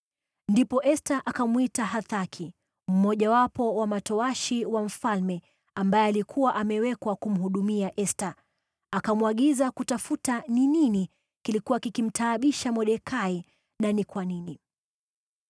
Ndipo Esta akamwita Hathaki, mmojawapo wa matowashi wa mfalme ambaye alikuwa amewekwa kumhudumia Esta, akamwagiza kutafuta ni nini kilikuwa kikimtaabisha Mordekai na ni kwa nini.